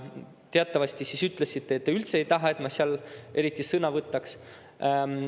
Teatavasti siis te ütlesite, et te üldse ei taha, et ma seal eriti sõna võtaks.